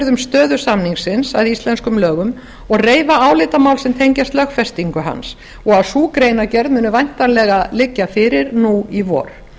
um stöðu samningsins að íslenskum lögum og reifa álitamál sem tengjast lögfestingu hans og að sú greinargerð muni væntanlega liggja fyrir í vor